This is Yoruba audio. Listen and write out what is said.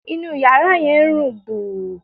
Inú yàrá yẹn ń rùn gbùù